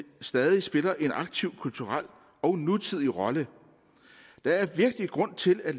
stadig spiller en aktiv kulturel og nutidig rolle der er virkelig grund til at